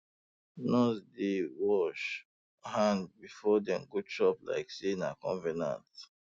nurses dey um wash um hand before dey go chop like say um na convenant